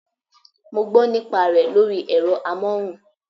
I heard the advert on radio